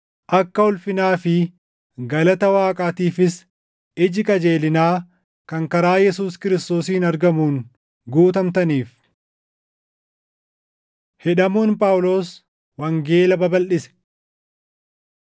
akka ulfinaa fi galata Waaqaatiifis iji qajeelinaa kan karaa Yesuus Kiristoosiin argamuun guutamtaniif. Hidhamuun Phaawulos Wangeela Babalʼise